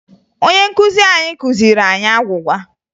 Onye nkuzi anyị kụziri anyị agwụgwa